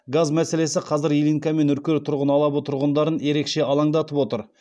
газ мәселесі қазір ильинка мен үркер тұрғын алабы тұрғындарын ерекше алаңдатып отыр